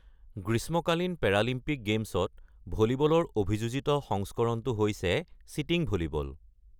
গ্ৰীষ্মকালীন পেৰালিম্পিক গেমছত ভলীবলৰ অভিযোজিত সংস্কৰণটো হৈছে ছিটিঙ ভলীবল।